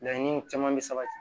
Laɲini caman bɛ sabati